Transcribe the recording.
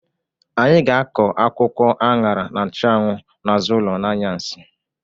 Anyị ga-akọ akwụkwọ añara na nchụanwụ n'azụ ụlọ n'anyasị.